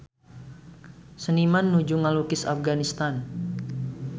Seniman nuju ngalukis Afganistan